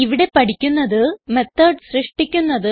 ഇവിടെ പഠിക്കുന്നത് മെത്തോട് സൃഷ്ടിക്കുന്നത്